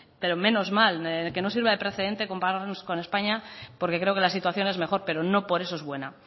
pero menos mal que no sirva de precedente compararnos con españa porque creo que la situación es mejor pero no por eso es buena